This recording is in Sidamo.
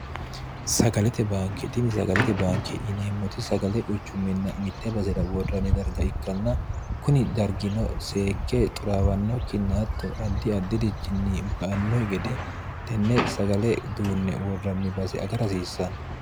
sagalete baanke dini sagalete baanke yineemmoti sagale quchumminna mitte basira worranni darga ikkanna kuni dargino seekke xuraawanno kinnaatto addi addi'richinni ba anno gede tenne sagale duunne worranni base aga rahasiissanno